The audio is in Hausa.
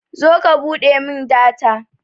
zo ka buɗe min data